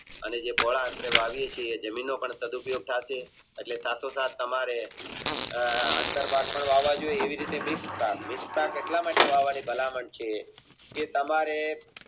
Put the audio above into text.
અને જે પહોળા અંતર વાવીએ છીએ એનો પણ સદુપયોગ સાથે એટલે સાથોસાથ તમારે અંતર પટ પણ લાવવા જોયે અને